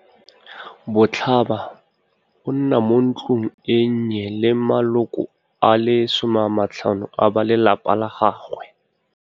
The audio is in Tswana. Botlhaba, a nna mo ntlong e nnye le maloko a le 15 a ba lelapa lwa gagwe.